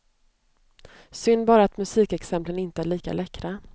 Synd bara att musikexemplen inte är lika läckra.